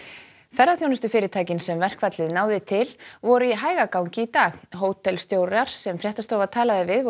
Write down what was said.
ferðaþjónustufyrirtækin sem verkfallið náði til voru í hægagangi í dag sem fréttastofa talaði við